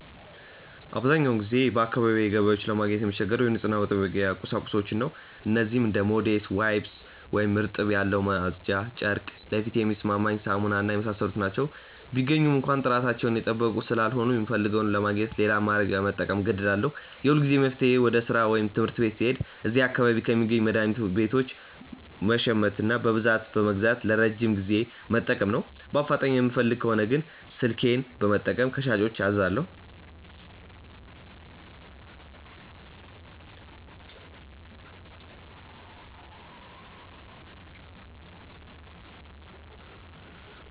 አብዛኛውን ጊዜ በአካባቢዬ ገበያዎች ለማግኘት የምቸገረው የንጽህና መጠበቂያ ቁሳቁሶችን ነው። እነዚህም እንደ ሞዴስ፣ ዋይፕስ (እርጥበት ያለው ማጽጃ ጨርቅ)፣ ለፊቴ የሚስማማኝ ሳሙና እና የመሳሰሉት ናቸው። ቢገኙም እንኳ ጥራታቸውን የጠበቁ ስላልሆኑ፣ የምፈልገውን ለማግኘት ሌላ አማራጭ ለመጠቀም እገደዳለሁ። የሁልጊዜም መፍትሄዬ ወደ ሥራ ወይም ትምህርት ቤት ስሄድ እዚያ አካባቢ ከሚገኙ መድኃኒት ቤቶች መሸመትና በብዛት በመግዛት ለረጅም ጊዜ መጠቀም ነው። በአፋጣኝ የምፈልግ ከሆነ ግን ስልኬን በመጠቀም ከሻጮች አዛለሁ።